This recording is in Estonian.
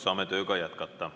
Saame tööga jätkata.